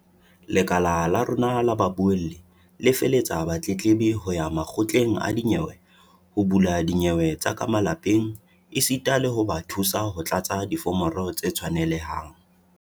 "Lekala la rona la babuelli le felehetsa batletlebi ho ya makgotleng a dinyewe ho bula dinyewe tsa ka malapeng esita le ho ba thusa ho tlatsa diforomo tse tshwanelehang."